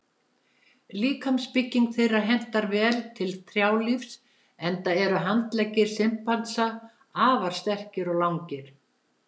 Líkamsbygging þeirra hentar vel til trjálífs enda eru handleggir simpansa afar sterkir og langir.